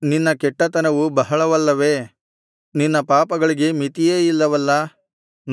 ನಿನ್ನ ಕೆಟ್ಟತನವು ಬಹಳವಲ್ಲವೇ ನಿನ್ನ ಪಾಪಗಳಿಗೆ ಮಿತಿಯೇ ಇಲ್ಲವಲ್ಲಾ